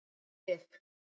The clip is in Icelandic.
Liv